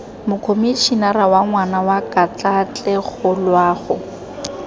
mokomišenara wa ngwana wa katlaatlegoloago